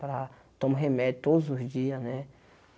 Para tomar remédio todos os dias, né?